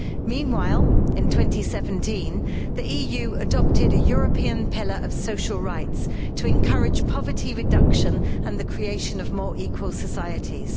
Meanwhile, in 2017, the EU adopted a European Pillar of Social Rights to encourage poverty reduction and the creation of more equal societies.